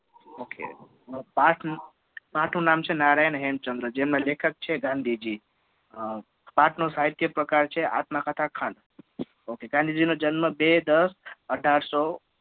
Ok પાઠનું નામ છે નારાયણ હેમચંદ્ર જેમના લેખક છે ગાંધીજી પાઠનો સાહિત્ય પ્રકાર છે આત્મકથા ખંડ. Ok ગાંધીજી નો જન્મ બે દસ અઢારસો